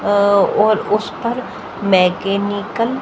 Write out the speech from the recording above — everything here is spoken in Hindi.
अह और उस पर मैकेनिकल --